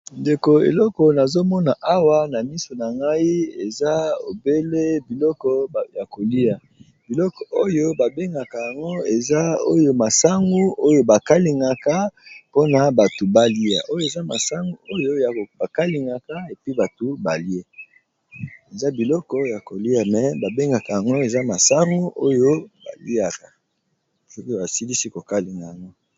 Ndeko eleko nazomona awa na miso na ngai eza obele biloko ya kolia biloko oyo ba bengaka yango eza oyo masangu oyo ba kalingaka mpona batu balia oyo eza masangu oyo ya ba kalingaka epi batu balie eza biloko ya kolia me ba bengaka yango eza masangu oyo baliaka soki basilisi kokalinga yango.